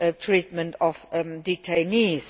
treatment of detainees.